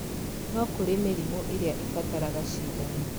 No kũrĩ mĩrimũ ĩrĩa ĩbataraga cindano